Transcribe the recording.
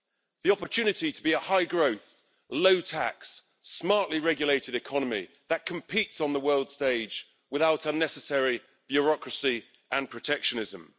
The opportunity to be a high-growth, low-tax, smartly regulated economy that competes on the world stage without unnecessary bureaucracy and protectionism.